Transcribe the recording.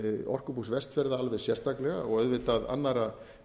orkubús vestfjarða alveg sérstaklega og auðvitað annarra